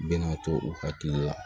Bɛnna to u hakili la